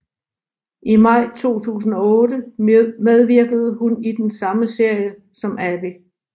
I maj 2008 medvirkede hun i den samme serie som Abby